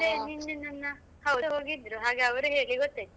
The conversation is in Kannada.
ಅಂದ್ರೆ ನಿನ್ನೆ ನನ್ನ ಹೋಗಿದ್ರು ಹಾಗೆ ಅವರು ಹೇಳಿ ಗೊತ್ತಾಯ್ತು.